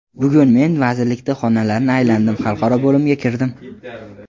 Bugun men vazirlikda xonalarni aylandim, xalqaro bo‘limga kirdim.